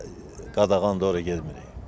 Hara qadağandır, ora getmirik.